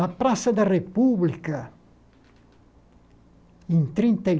Na Praça da República, em trinta e